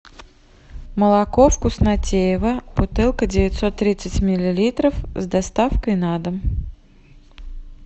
молоко вкуснотеево бутылка девятьсот тридцать миллилитров с доставкой на дом